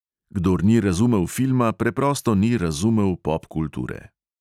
Kdor ni razumel filma, preprosto ni razumel popkulture.